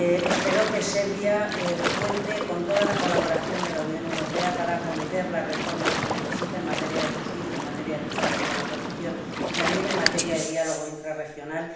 Espero que Serbia cuente con la plena colaboración de la Unión Europea para acometer las reformas que necesite en materia de justicia, en materia de lucha contra la corrupción y también en materia de diálogo intrarregional.